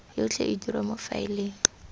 yotlhe e dirwa mo faeleng